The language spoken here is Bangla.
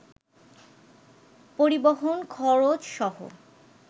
পরিবহণ খরচসহ